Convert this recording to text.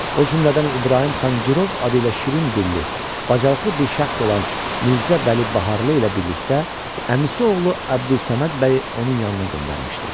O cümlədən İbrahim xan Girov adı ilə şirin dilli, bacarıqlı bir şəxs olan Mirzə Vəli Baharlı ilə birlikdə əmisi oğlu Əbdülsəməd bəyi onun yanına göndərmişdi.